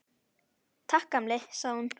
Takk, gamli, sagði hún.